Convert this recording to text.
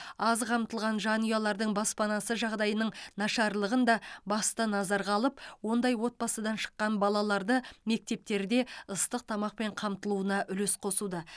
аз қамтылған жанұялардың баспанасы жағдайының нашарлығын да басты назарға алып ондай отбасыдан шыққан балаларды мектептерде ыстық тамақпен қамтылуына үлес қосуда